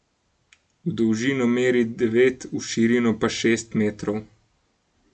V dolžino meri devet, v širino pa šest metrov.